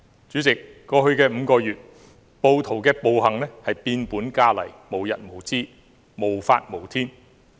主席，在過去5個月，暴徒的暴行變本加厲、無日無之、無法無天。